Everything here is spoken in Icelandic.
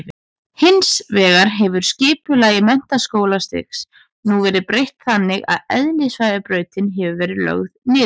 Hins vegar hefur skipulagi menntaskólastigsins nú verið breytt þannig að eðlisfræðibrautin hefur verið lögð niður.